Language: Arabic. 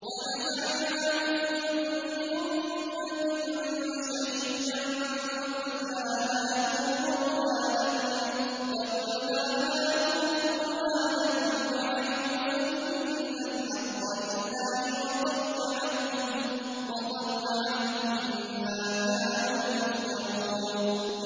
وَنَزَعْنَا مِن كُلِّ أُمَّةٍ شَهِيدًا فَقُلْنَا هَاتُوا بُرْهَانَكُمْ فَعَلِمُوا أَنَّ الْحَقَّ لِلَّهِ وَضَلَّ عَنْهُم مَّا كَانُوا يَفْتَرُونَ